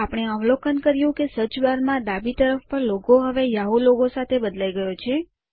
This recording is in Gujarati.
આપણે અવલોકન કર્યું કે સર્ચ બાર માં ડાબી તરફ પર લોગો હવે યાહૂ લોગો દ્વારા બદલાઈ ગયેલ છે